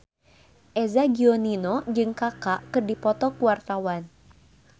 Eza Gionino jeung Kaka keur dipoto ku wartawan